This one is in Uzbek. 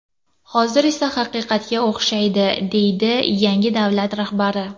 Hozir esa haqiqatga o‘xshaydi”, deydi yangi davlat rahbari.